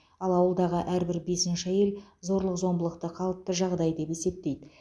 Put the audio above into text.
ал ауылдағы әрбір бесінші әйел зорлық зомбылықты қалыпты жағдай деп есептейді